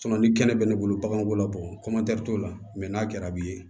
ni kɛnɛ bɛ ne bolo bagan b'o la bɔ t'o la mɛ n'a kɛra b'i ye